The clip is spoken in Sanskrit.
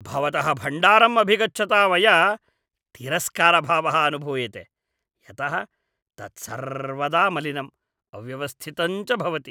भवतः भण्डारम् अभिगच्छता मया तिरस्कारभावः अनुभूयते यतः तत् सर्वदा मलिनम्, अव्यवस्थितं च भवति।